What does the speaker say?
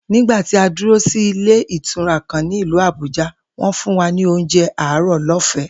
Nígbà tí a dúró sí ilé ìtura kan ní ìlú Àbújá, wó̩n fún wa ní oúnjé àárò̩ ló̩fè̩é̩